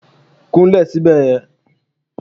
Kún lè sibe ye